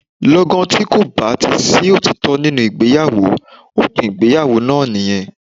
Lọ́gán tí kò bá ti sí òtítọ́ nínú ìgbéyàwó, òpin ìgbéyàwó náà nìyẹn.